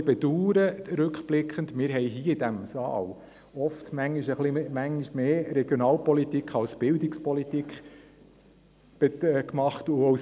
Ich muss rückblickend auch ein wenig bedauernd, dass wir in diesem Saal oft mehr Regionalpolitik als Bildungspolitik gemacht haben.